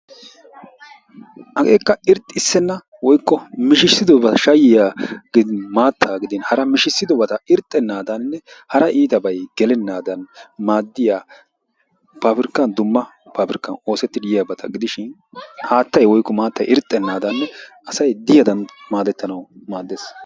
Hageekka irxxissenna woykko mishissidobata shayyiya, maattaa, gidin hara mishissidobata irxxennaadaninne hara iitabay gelennaadan maaddiya paabirkka dumma paabirkkan oosettidi yiyabata gidishin haattay woykko maattay irxxennaadaaninne asay de'iyadan maadettanawu maaddees.